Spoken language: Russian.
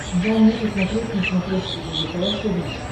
дай мне посмотреть на смотрешке лдпр тв